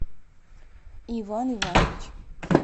иван иванович